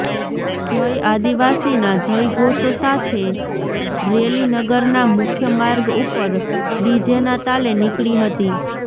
જય આદિવાસીના જયઘોષ સાથે રેલી નગરના મુખ્ય માર્ગ ઉપર ડીજેના તાલે નીકળી હતી